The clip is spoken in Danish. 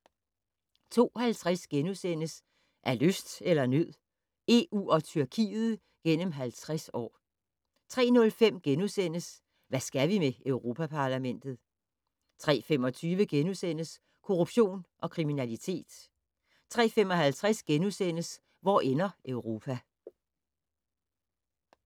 02:50: Af lyst eller af nød? EU og Tyrkiet gennem 50 år * 03:05: Hvad skal vi med Europa-Parlamentet? * 03:25: Korruption og kriminalitet * 03:55: Hvor ender Europa? *